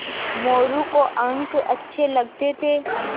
मोरू को अंक अच्छे लगते थे